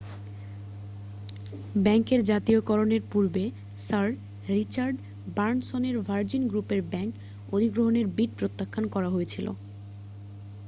ব্যাংকের জাতীয়করণের পূর্বে স্যার রিচার্ড ব্রানসনের ভার্জিন গ্রুপের ব্যাংক অধিগ্রহণের বিড প্রত্যাখান করা হয়েছিল